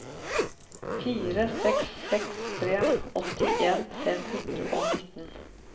fire seks seks tre åttien fem hundre og nitten